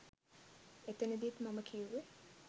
එතනදිත් මම කියුවේ